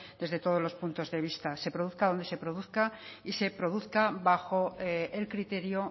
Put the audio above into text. desde todos los puntos vista se produzca donde se produzca y se produzca bajo el criterio